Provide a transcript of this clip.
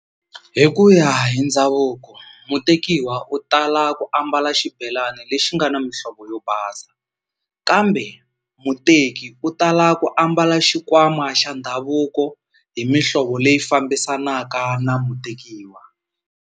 Hi ku ya hi ndhavuko mutekiwa u tala ku ambala xibelani lexi nga na mihlovo yo basa kambe muteki u tala ku ambala xikwama xa ndhavuko hi mihlovo leyi fambisanaka na mutekiwa.